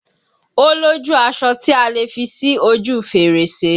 O lójú aṣọ tí a lè fi sí ojú fèrèsé